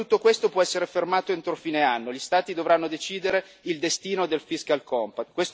Ma tutto questo può essere fermato entro fine anno gli Stati dovranno decidere il destino del fiscal compact